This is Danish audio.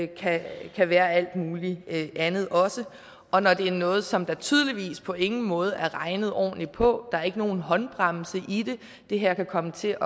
kan være alt mulig andet også og når det er noget som der tydeligvis på ingen måde er regnet ordentligt på der er ikke nogen håndbremse i det det her kan komme til